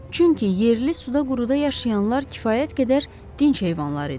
Çünki yerli suda quruda yaşayanlar kifayət qədər dinc heyvanlar idi.